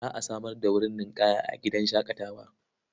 Za a samar da wurin ninƙaya a gidan shaƙatawar.